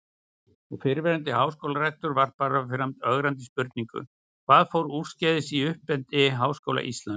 Og fyrrverandi háskólarektor varpaði fram ögrandi spurningum: Hvað fór úrskeiðis í uppeldi Háskóla Íslands?